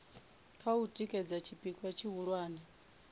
kha u tikedza tshipikwa tshihulwane